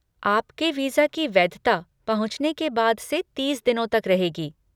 आपके वीज़ा की वैधता पहुँचने के बाद से तीस दिनों तक रहेगी।